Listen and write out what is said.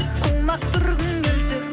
құлақ түргің келсе